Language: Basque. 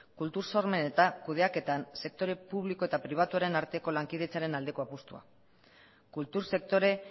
kultur sormen eta kudeaketan sektore publiko eta pribatuaren arteko lankidetzaren aldeko apustua kultur sektore